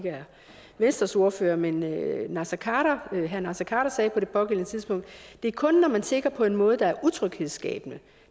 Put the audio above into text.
venstres ordfører men herre naser khader herre naser khader sagde på det pågældende tidspunkt det er kun når man tigger på en måde der er utryghedsskabende